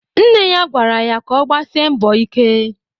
Nne ya gwara ya ka ọ gbasie mbọ ike.